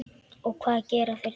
Og hvað gera þeir þá?